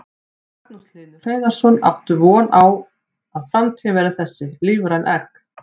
Magnús Hlynur Hreiðarsson: Áttu von á að framtíðin verði þessi, lífræn egg?